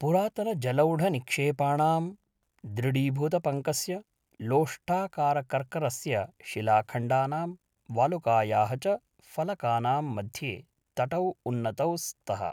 पुरातनजलोढनिक्षेपाणां, दृढीभूतपङ्कस्य, लोष्टाकारकर्करस्य शिलाखण्डनां, वालुकायाः च फलकानां मध्ये तटौ उन्नतौ स्तः।